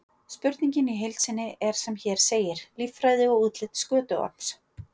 Spurningin í heild sinni er sem hér segir: Líffræði og útlit skötuorms?